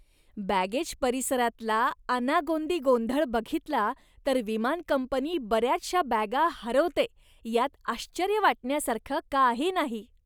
Baggage परिसरातला अनागोंदी गोंधळ बघितला तर विमान कंपनी बऱ्याचशा बॅगा हरवते यात आश्चर्य वाटण्यासारखं काही नाही.